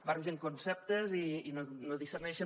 barregen conceptes i no discerneixen